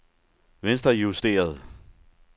venstrejusteret